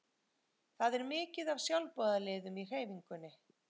Það er mikið af sjálfboðaliðum í hreyfingunni.